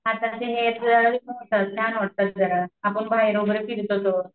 हाताचे होतात छान वाटतं जरा. आपण बाहेर वगैरे फिरलो तर.